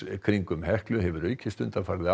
kringum Heklu hefur aukist undanfarið